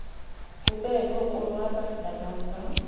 kobekho konwaba nakamva